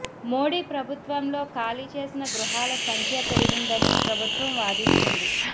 మోడీ ప్రభుత్వంలో ఖాళీ చేసిన గృహాల సంఖ్య పెరిగిందని ప్రభుత్వం వాదిస్తుంది